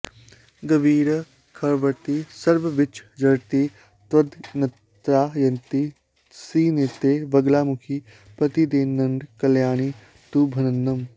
गर्वी खर्वति सर्वविच्च जडति त्वद्यन्त्रणा यन्त्रितः श्रीनित्ये वगलामुखि प्रतिदिनङ्कल्याणि तुभ्यन्नमः